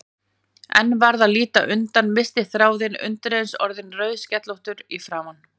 En varð að líta undan, missti þráðinn, undireins orðin rauðskellótt í framan.